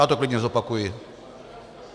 Já to klidně zopakuji.